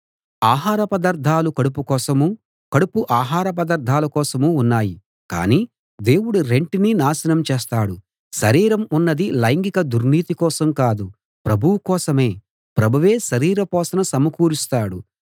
ఆహార పదార్ధాలు కడుపు కోసమూ కడుపు ఆహార పదార్ధాల కోసమూ ఉన్నాయి కానీ దేవుడు రెంటినీ నాశనం చేస్తాడు శరీరం ఉన్నది లైంగిక దుర్నీతి కోసం కాదు ప్రభువు కోసమే ప్రభువే శరీర పోషణ సమకూరుస్తాడు